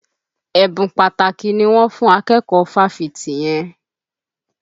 Ẹ̀bùn pàtàkì ni wọ́n fùn akẹ́kọ̀ọ́ fáfitì yẹn.